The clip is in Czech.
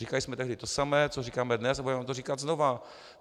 Říkali jsme tehdy to samé, co říkáme dnes, a budeme to říkat znovu.